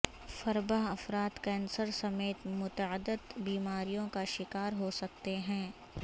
فربہ افراد کینسر سمیت متعدد بیماریوں کا شکار ہو سکتے ہیں